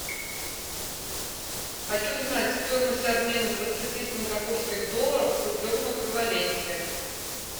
хочу знать стоимость обмена двадцати сингапурских долларов в рублевом эквиваленте